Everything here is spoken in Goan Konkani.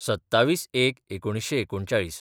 २७/०१/१९३९